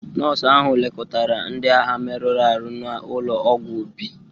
Nọọsụ ahụ lekọtara ndị agha merụrụ ahụ n'ụlọ ọgwụ ubi.